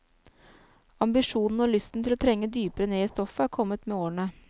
Ambisjonene og lysten til å trenge dypere ned i stoffet er kommet med årene.